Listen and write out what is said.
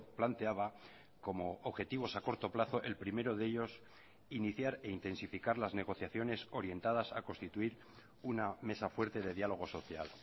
planteaba como objetivos a corto plazo el primero de ellos iniciar e intensificar las negociaciones orientadas a constituir una mesa fuerte de diálogo social